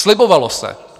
Slibovalo se.